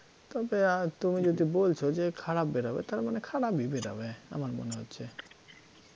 তবে আ~ তুমি যদি বলছ যে খারাপ বেরোবে তার মানে খারাপই বেরোবে আমার মনে হচ্ছে,